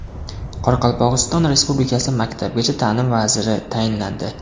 Qoraqalpog‘iston Respublikasi maktabgacha ta’lim vaziri tayinlandi.